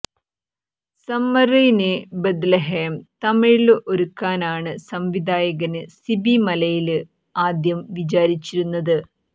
summer in Bethlehem തമിഴില് ഒരുക്കാനാണ് സംവിധായകന് സിബി മലയില് ആദ്യം വിചാരിച്ചിരുന്നത്